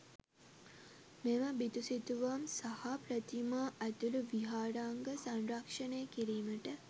මෙම බිතුසිතුවම් සහ ප්‍රතිමා ඇතුළු විහාරාංග සංරක්‍ෂණය කිරීමට